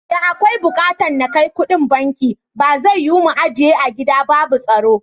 Da akwai bukatan na kai kuɗin banki, ba zai yiwu mu ajiye a gida ba babu tsaro.